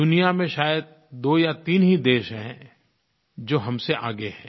दुनिया में शायद दो या तीन ही देश हैं जो हम से आगे हैं